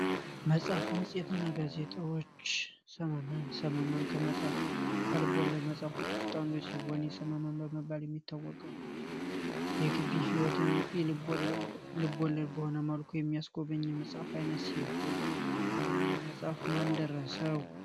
መጽሐፍ መጽሄትና ጋዜጦች ህይወትን የልብ ወለድ ልቦለድ በሆነ መልኩ የሚያስቆብኝ መጽሐፍ አይነት ይህንን መጽሐፍ ማን ደረሰዉ?